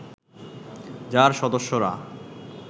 যার সদস্যরা